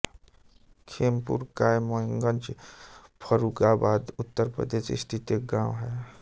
खेमपुर कायमगंज फर्रुखाबाद उत्तर प्रदेश स्थित एक गाँव है